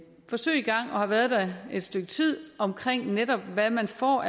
forsøg i gang og har været det et stykke tid om netop hvad man får